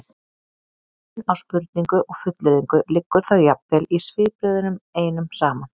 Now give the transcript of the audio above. munurinn á spurningu og fullyrðingu liggur þá jafnvel í svipbrigðunum einum saman